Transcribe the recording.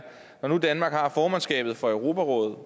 når nu danmark har formandskabet for europarådet